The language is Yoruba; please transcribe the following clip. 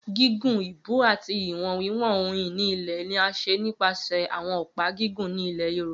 Gigun, ibú ati iwọn wiwọn ohun ini ilẹ ni a ṣe nipasẹ awọn ọpa gigun ni Yorùbá.